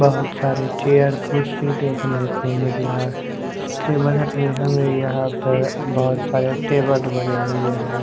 बहोत सारे चेयर कुर्सी देखने को मिल रहा है उसके बदल में हमें यहाँ पर बहोत सारे टेबल बने हुए हैं।